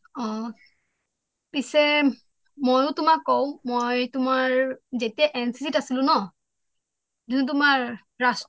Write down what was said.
অ পিছে ময়ো তোমাক কওঁ মই তোমাৰ যেতিয়া এনচিচি ত আছিলোঁ ন যিটো তোমাৰ ৰাষ্ট্ৰীয়